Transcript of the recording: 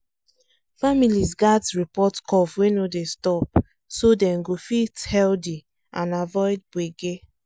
families gats report cough wey no dey stop so dem go fit healthy and avoid gbege